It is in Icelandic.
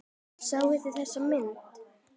Sáuð þið þessar myndir?